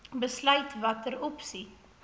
besluit watter opsie